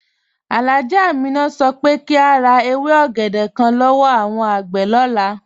Alhájá Àmínà sọ pé kí a rá èwé ògédè kán lọ́wọ́ awọn agbé lọlá.